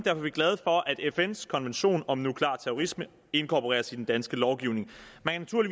er vi glade for at fns konvention om nuklear terrorisme inkorporeres i den danske lovgivning man